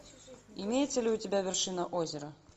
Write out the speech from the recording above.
имеется ли у тебя вершина озера